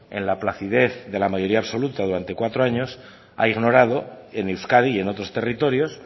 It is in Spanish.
en la placidez de la mayoría absoluta durante cuatro años ha ignorado en euskadi y en otros territorios